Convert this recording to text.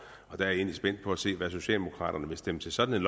og der er jeg egentlig spændt på at se hvad socialdemokraterne vil stemme til sådan et